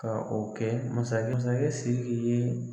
Ka o kɛ masakɛ masakɛ Siriki ye